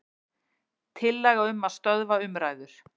Tillaga um að stöðva umræður.